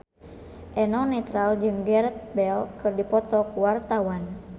Eno Netral jeung Gareth Bale keur dipoto ku wartawan